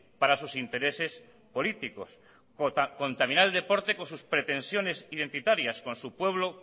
para sus intereses políticos contaminar el deporte con sus pretensiones identitarias con su pueblo